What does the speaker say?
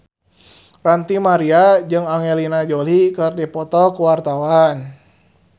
Ranty Maria jeung Angelina Jolie keur dipoto ku wartawan